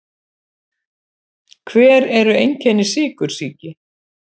Hver eru einkenni sykursýki?